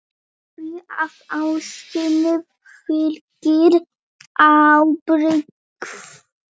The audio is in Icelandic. Því að ástinni fylgir ábyrgð.